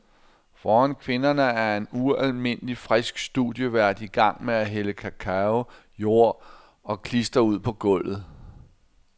Foran kvinderne er en ualmindelig frisk studievært i gang med at hælde cacao, jord og klister ud på gulvet.